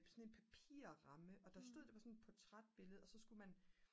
sådan en papirramme og der stod det var sådan et portrætbillede og så skulle man